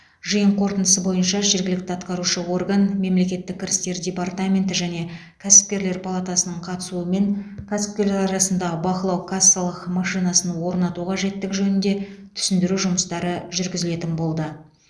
жиын қорытындысы бойынша жергілікті атқарушы орган мемлекеттік кірістер департаменті және кәсіпкерлер палатасының қатысуымен кәсіпкерлер арасында бақылау кассалық машинасын орнату қажеттігі жөнінде түсіндіру жұмыстары жүргізілетін болды